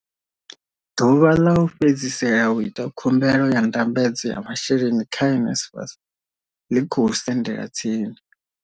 Ḓuvha ḽa u fhedzisela u ita khumbelo ya ndambedzo ya masheleni kha NSFAS ḽi khou sendela tsini.